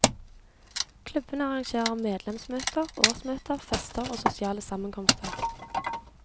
Klubbene arrangerer medlemsmøter, årsmøte, fester og sosiale sammenkomster.